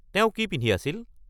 তেওঁ কি পিন্ধি আছিল?